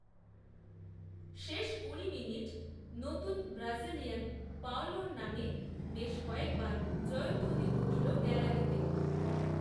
শেষ কুড়ি মিনিট, নতুন ব্রাজিলিয়ান পাওলোর নামে, বেশ কয়েকবার জয়ধ্বনি উঠল গ্যালারিতে